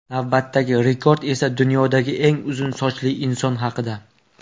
Navbatdagi rekord esa dunyodagi eng uzun sochli inson haqida.